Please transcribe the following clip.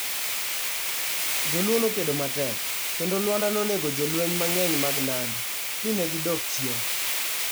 Jo Luo nokedo matek, kendo Lwanda nonego jolweny mang'eny mag Nandi, mi ne gidok chien.